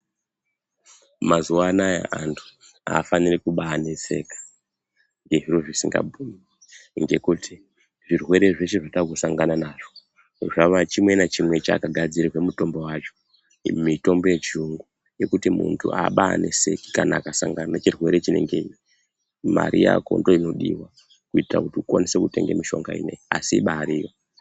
Mazuwanaya antu aafaniri kubaneseka ngezviro zvisingabhuyi ngekuti zvirwere zveshe zvatakusanga nazvo zvava chimwe nachimwe chakagadzirirwa mutombo wacho , iyi mitombo yechiyungu ikuti muntu abaneseki kana akasangana nechirwere chinengeyi Mari Yako ndoinodiwa kuitira kuti ukwanise kutenga mishonga ineyi asi ibariyo.